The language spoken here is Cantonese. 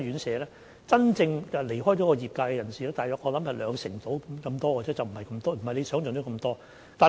真正離開業界的人士，我想大約有兩成多，不是劉議員想象中那麼多。